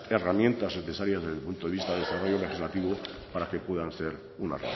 herramientas necesarias desde el punto de vista de desarrollo legislativo para que pueda ser una